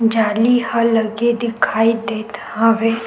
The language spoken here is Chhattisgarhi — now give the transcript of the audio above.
जाली ह लगे दिखाई देत हवे।